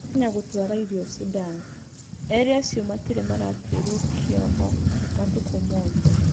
Kenya gũtwara irio Sudan. Erĩ acio matirĩ maratwĩrwo kĩoho matukũmothe.